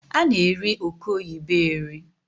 A na-eri oke oyibo eri